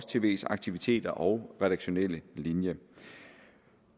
tvs aktiviteter og redaktionelle linje